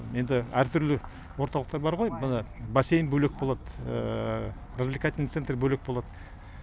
енді әр түрлі орталықтар бар ғой мына бассейн бөлек болады развлекательный центр бөлек болады